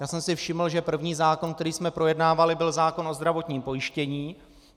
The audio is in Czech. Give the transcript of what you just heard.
Já jsem si všiml, že první zákon, který jsme projednávali, byl zákon o zdravotním pojištění.